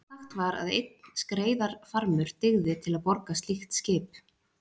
Sagt var að einn skreiðarfarmur dygði til að borga slíkt skip.